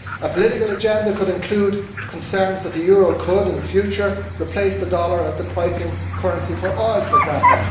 A political agenda could include concerns that the euro could, in future, replace the dollar as the pricing currency for oil, for example